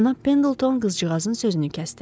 Cənab Pendilton qızcığazın sözünü kəsdi.